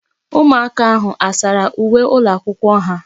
Ụmụaka ahụ a sara uwe ụlọakwụkwọ ha?